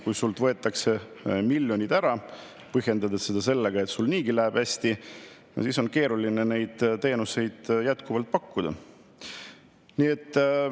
Kui sult võetakse miljonid ära, põhjendades seda sellega, et sul niigi läheb hästi, siis on keeruline neid teenuseid jätkuvalt pakkuda.